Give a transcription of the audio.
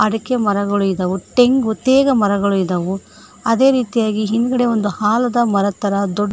ಅದಕ್ಕೆ ಮರಗಳು ಇದಾವ ಒ ತೆಂಗ ಒತ್ತೇಗ ಮರಗಳು ಇದಾವು ಅದೇ ರೀತಿಯಾಗಿ ಹಿಂದ್ಗಡೆ ಒಂದು ಆಲದ ಮರದ ತರ ದೊಡ್ಡ--